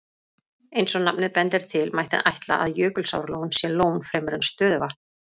Eins og nafnið bendir til, mætti ætla að Jökulsárlón sé lón fremur en stöðuvatn.